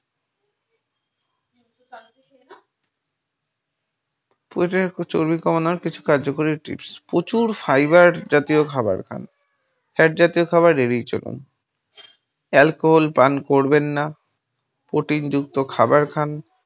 প্রয়োজনীয় চর্বি কমানোর কিছু কার্যকরী tips । প্রচুর fiber জাতীয় খাবার খান, fat জাতীয় খাবার এড়িয়ে চলুন, alcohol পান করবেন না, protein যুক্ত খাবার খান।